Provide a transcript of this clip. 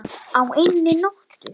Á einni nóttu!